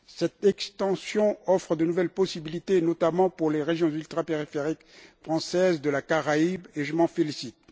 Cette extension offre de nouvelles possibilités, notamment pour les régions ultrapériphériques françaises de la Caraïbe, et je m'en félicite.